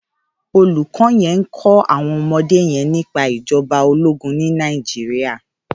Ólúkò yèn n kò áwòn òmòdé yèn nipá ijòbá ólógùn ni Nàijiriá